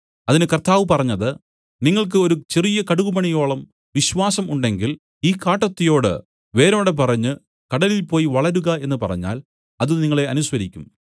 അതിന് കർത്താവ് പറഞ്ഞത് നിങ്ങൾക്ക് ഒരു ചെറിയ കടുകുമണിയോളം വിശ്വാസം ഉണ്ടെങ്കിൽ ഈ കാട്ടത്തിയോട് വേരോടെ പറിഞ്ഞു കടലിൽ പോയി വളരുക എന്നു പറഞ്ഞാൽ അത് നിങ്ങളെ അനുസരിക്കും